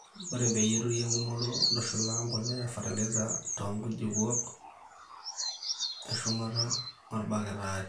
ore peyie eturi enkumoto, ntushula embolea o fertiliser too nkujlupuok eshumata ,olbaketi aare